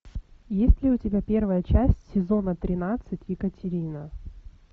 есть ли у тебя первая часть сезона тринадцать екатерина